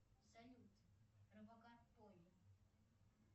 салют робокар полли